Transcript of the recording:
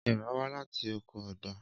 Éèrà wá láti oko ọgbà.